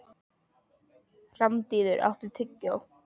Randíður, áttu tyggjó?